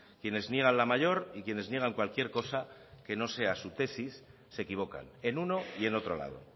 quienes niegan la mayor y quienes niegan cualquier cosa que no sea su tesis se equivocan en uno y en otro lado